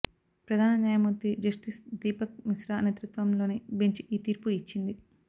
ప్రధాన న్యాయమూర్తి జస్టిస్ దీపక్ మిశ్రా నేతృత్వంలోని బెంచ్ ఈ తీర్పు ఇచ్చింది